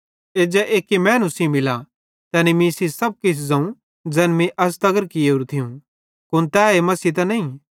एज्जा एक्की मैनू सेइं मिला तैनी मीं सेइं सब किछ ज़ोवं ज़ैन मीं अज़ तगर कियेरू थियूं कुन ए तै मसीह त नईं